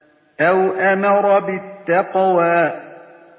أَوْ أَمَرَ بِالتَّقْوَىٰ